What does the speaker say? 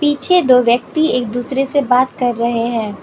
पीछे दो व्यक्ति एक दूसरे से बात कर रहे हैं।